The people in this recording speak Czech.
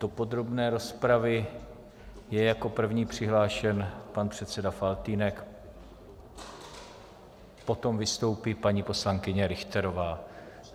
Do podrobné rozpravy je jako první přihlášen pan předseda Faltýnek, potom vystoupí paní poslankyně Richterová.